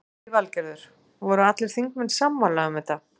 Lillý Valgerður: Voru allir þingmenn sammála um þetta?